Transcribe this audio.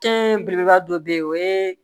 belebeleba dɔ be yen o ye